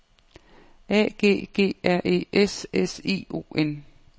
A G G R E S S I O N